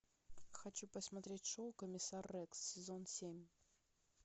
хочу посмотреть шоу комиссар рекс сезон семь